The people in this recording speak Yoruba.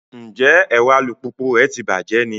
Njẹ ẹrọ alupupu rẹ tí bàjé ní?